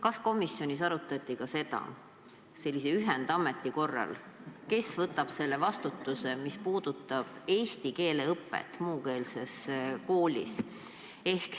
Kas komisjonis arutati ka seda, kes selle ühendameti korral võtab vastutuse eesti keele õppe eest muukeelses koolis?